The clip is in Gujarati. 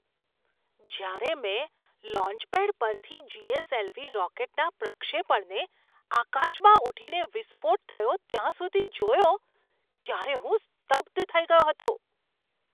જ્યારે મેં લોન્ચપેડ પરથી જી. એસ. એલ. વી. રોકેટના પ્રક્ષેપણને આકાશમાં ઊઠીને વિસ્ફોટ થયો ત્યાં સુધી જોયો, ત્યારે હું સ્તબ્ધ થઈ ગયો હતો.